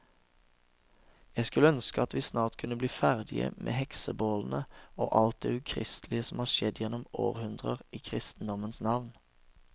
Jeg skulle ønske at vi snart kunne bli ferdige med heksebålene og alt det ukristelige som har skjedd gjennom århundrer i kristendommens navn.